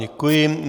Děkuji.